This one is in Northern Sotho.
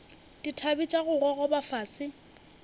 dithabe tša go gogoba fase